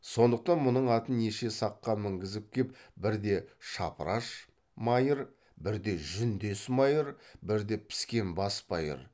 сондықтан мұның атын неше саққа мінгізіп кеп бірде шапыраш майыр бірде жүндес майыр бірде піскен бас майыр